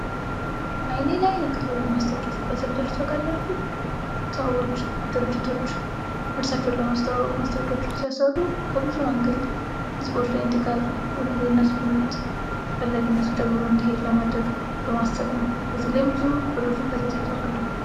አይኔ ላይ ነው የቀረው ይህ ማስታወቂያ ሲባል ሰምታችሁ ታውቃላችሁ ? ሰዎች ድርጅቶች ምርታቸውን ለማስታወቅ ማስታወቂያዎችን ሲያሰሩ ከብዙ አንግል ህዝቦች ላይ እንዲቀር ወይም ደግሞ ምርት ተፈላጊነት እየጨመረ እንዲሄድ ነው በዚህ ላይም ብዙ ብር ፈሰስ ያደርጋሉ።